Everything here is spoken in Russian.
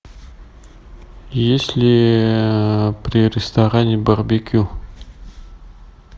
есть ли при ресторане барбекю